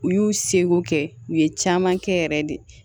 U y'u seko kɛ u ye caman kɛ yɛrɛ de